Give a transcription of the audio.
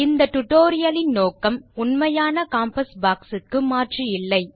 இந்த டியூட்டோரியல் லின் நோக்கம் உண்மையான காம்பாஸ் பாக்ஸ் க்கு மாற்று இல்லை